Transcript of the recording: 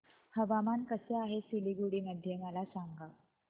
हवामान कसे आहे सिलीगुडी मध्ये मला सांगा